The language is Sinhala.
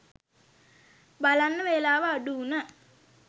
බලන්න වෙලාව අඩු වුන